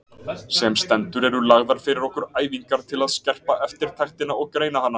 Sem stendur eru lagðar fyrir okkur æfingar til að skerpa eftirtektina og greina hana.